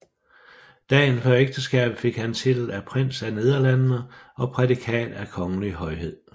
Dagen før ægteskabet fik han titel af Prins af Nederlandene og prædikat af Kongelig Højhed